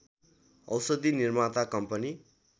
औषधि निर्माता कम्पनी